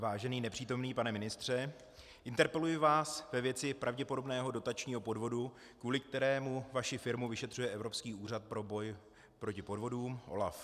Vážený nepřítomný pane ministře, interpeluji vás ve věci pravděpodobného dotačního podvodu, kvůli kterému vaši firmu vyšetřuje Evropský úřad pro boj proti podvodům, OLAF.